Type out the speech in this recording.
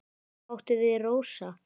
Hvað áttu við, Rósa?